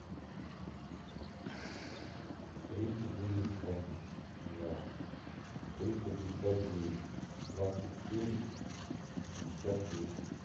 три четыреста два триста пятьдесят девять двадцать семь пятьдесят восемь